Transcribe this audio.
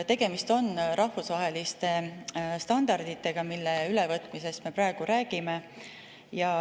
Tegemist on rahvusvaheliste standarditega, mille ülevõtmisest me praegu räägime.